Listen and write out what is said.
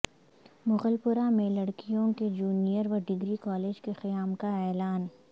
مغل پورہ میں لڑکیوں کے جونئر و ڈگری کالج کے قیام کا اعلان